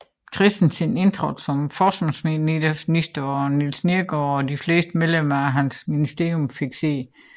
Christensen indtrådte som forsvarsminister og Niels Neergaard og de fleste medlemmer af hans ministerium fik sæde